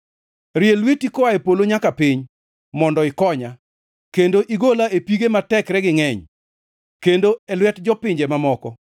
Rie lweti koa e polo nyaka piny, mondo ikonya, kendo igola, e pige ma tekregi ngʼeny, kendo e lwet jopinje mamoko,